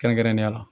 Kɛrɛnkɛrɛnnenya la